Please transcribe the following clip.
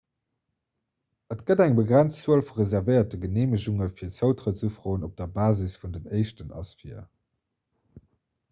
et gëtt eng begrenzt zuel vu reservéierte geneemegunge fir zoutrëttsufroen op der basis vun den éischten ass vir